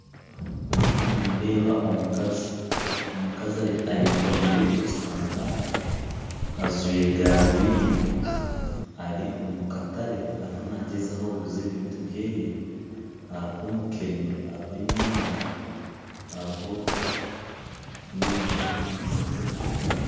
Ndiho nindeeba omukazi, omukazi ayekomire ekitambaara ajwaire garubindi ari omukatare aruho nagyezaho kuguza ebintu byeye haruho mukene haruho enyaanya haruho nebintu byingi.